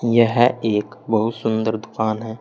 यह एक बहुत सुंदर दुकान है।